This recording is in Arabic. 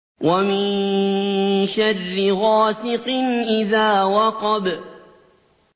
وَمِن شَرِّ غَاسِقٍ إِذَا وَقَبَ